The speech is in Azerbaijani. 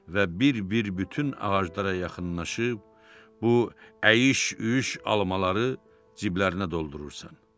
Və bir-bir bütün ağaclara yaxınlaşıb bu əyri-üyri almaları ciblərinə doldurursan.